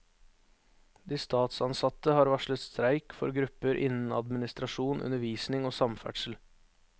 De statsansatte har varslet streik for grupper innen administrasjon, undervisning og samferdsel.